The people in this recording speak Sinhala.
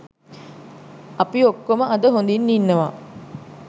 අපි ඔක්කොම අද හොදින් ඉන්නවා